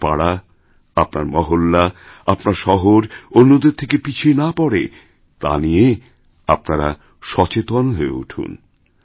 আপনার পাড়া আপনার মহল্লাআপনার শহর অন্যদের থেকে পিছিয়ে না পড়ে তা নিয়ে আপনারা সচেতন হয়ে উঠুন